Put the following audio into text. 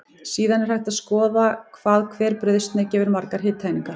Síðan er hægt að skoða hvað hver brauðsneið gefur margar hitaeiningar.